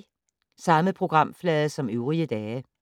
Samme programflade som øvrige dage